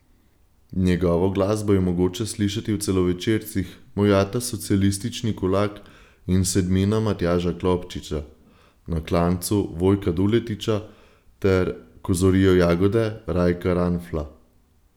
Njegovo glasbo je mogoče slišati v celovečercih Moj ata socialistični kulak in Sedmina Matjaža Klopčiča, Na klancu Vojka Duletiča ter Ko zorijo jagode Rajka Ranfla.